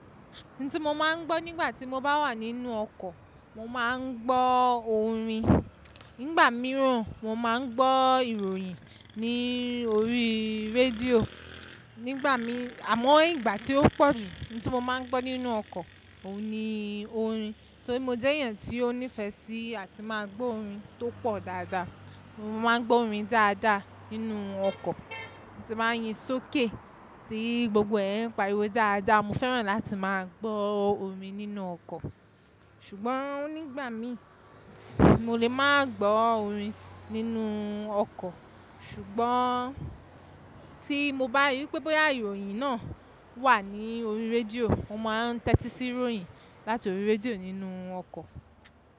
N tí mo máa ń gbọ́ nígbà tí mo bá wà nínú ọkọ̀, mo máa ń gbọ́ orin. Nígbà mìíràn mo máa ń gbọ́ ìròyìn ní orí rédíò. Nígbà mi à mọ́ ìgbà tí ó pọ̀jù n tí mo máa ń gbọ́ nínú ọkọ̀, òun ni orin. Torí mo jẹ́ èèyàn tí ó nífẹ̀ẹ́ sí àti máa gbọ́ orin tó pọ̀ dáadáa. Mo máa ń gbọ́ orin dáadáa nínú ọkọ̀, tí máa ń yí sókè, tí gbogbo ẹ̀ ń pariwo dáadáa. Mo fẹ́ràn láti máa gbọ́ orin nínú ọkọ̀. Ṣùgbọ́n nígbà mi mo lè máa gbọ́ orin nínú ọkọ̀, ṣùgbọ́n tí mo bá rí wipé boya ìròyìn náà wà ní orí rédíò, mo máa tẹ́tí sí ìròyìn láti orí rédíò nínú ọkọ̀.